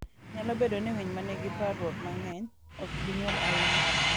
Nyalo bedo ni winy ma nigi parruok mang'eny, ok bi nyuol ahinya.